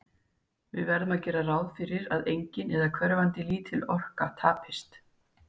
Við verðum að gera ráð fyrir að engin, eða hverfandi lítil, orka tapist.